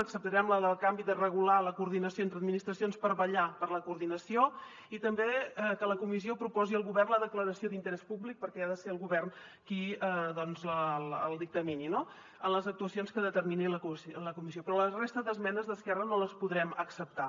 acceptarem la del canvi de regular la coordinació entre administracions per vetllar per la coordinació i també que la comissió proposi al govern la declaració d’interès públic perquè ha de ser el govern qui el dictamini en les actuacions que determini la comissió però la resta d’esmenes d’esquerra no les podrem acceptar